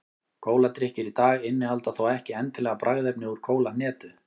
kóladrykkir í dag innihalda þó ekki endilega bragðefni úr kólahnetu